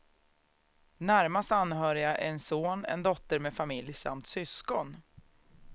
Närmast anhöriga är en son, en dotter med familj samt syskon.